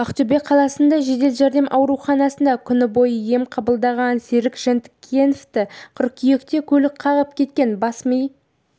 ақтөбе қаласындағы жедел жәрдем ауруханасында күн бойы ем қабылдаған серік жантікеновті қыркүйекте көлік қағып кеткен бас-ми